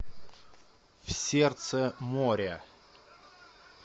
в сердце моря